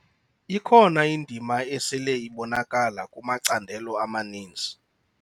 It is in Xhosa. Ikhona indima esele ibonakala kumacandelo amaninzi.